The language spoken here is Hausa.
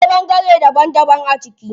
Akwai ɓangare daban daban a ciki.